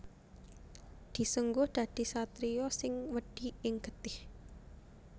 Disengguh dadi satriya sing wedi ing getih